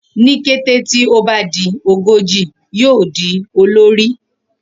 Ni kete ti o ba di ogoji, yoo di olori